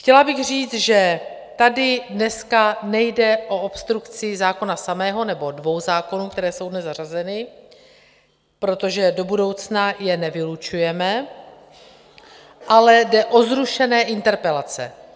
Chtěla bych říct, že tady dneska nejde o obstrukci zákona samého nebo dvou zákonů, které jsou dnes zařazeny, protože do budoucna je nevylučujeme, ale jde o zrušené interpelace.